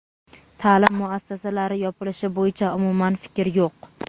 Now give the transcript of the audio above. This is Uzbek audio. Ta’lim muassasalari yopilishi bo‘yicha umuman fikr yo‘q.